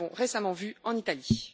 Nous l'avons récemment vu en Italie.